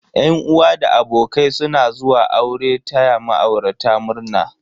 Yan uwa da abokai suna zuwa aure taya ma'aurata murna.